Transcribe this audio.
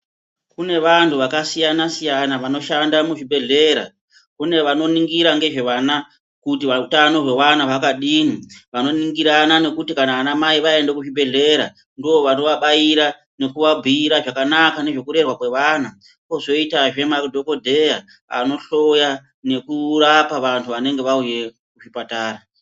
Kune vantu vakasiyana-siyana vanoshanda muzvibhedhlera. Kune vanoningira ngezvevana kuitira utano hwevana hwakadini. Vanoningirana kuti vanamai vaende kuzvibhedhlera ndovanovabaira nekuvabhuira zvakanaka nezvekurerwa kwevana. Kozoitazve madhogodheya anohloya nekurapa vantu vanenge vauyeyo kuzvipatara.